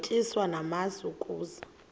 utyiswa namasi ukaze